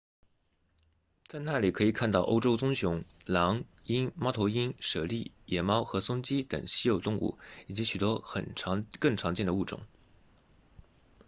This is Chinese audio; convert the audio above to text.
在那里可以看到欧洲棕熊狼鹰猫头鹰猞猁野猫和松鸡等稀有动物以及许多更常见的物种